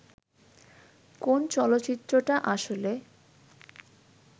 কোন চলচ্চিত্রটা আসলে